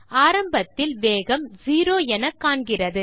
ஆரம்பத்தில் வேகம் 0 என காண்கிறது